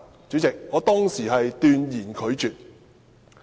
主席，我當時斷然拒絕。